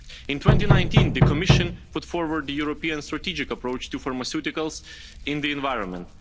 In 2019, the Commission put forward the European strategic approach to pharmaceuticals in the environment.